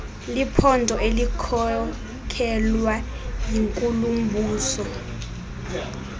liphondo elikhokelwa yinkulumbuso